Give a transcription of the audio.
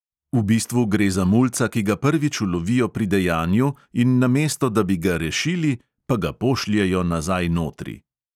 "V bistvu gre za mulca, ki ga prvič ulovijo pri dejanju, in namesto da bi ga rešili, pa ga pošljejo nazaj notri."